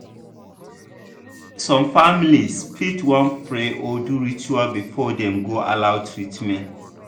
some families fit wan pray or do ritual before dem go allow treatment.